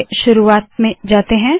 चलिए शुरुवात में जाते है